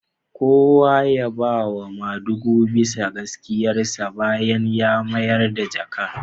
Kowa ya yaba wa madugun bisa gaskiyarsa bayan ya mayar da jakar